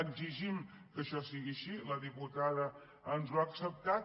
exigim que això sigui així la diputada ens ho ha acceptat